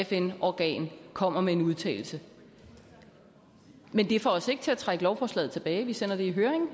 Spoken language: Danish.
fn organ kommer med en udtalelse men det får os ikke til at trække lovforslaget tilbage vi sender det i høring